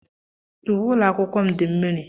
Uwe ụlọ akwụkwọ m dị mmiri.